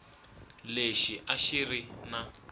lexi a xi ri na